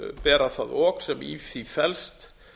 bera það ok sem í því felst